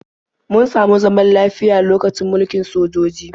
Mun samu zaman lafiya lokacin mulkin sojoji.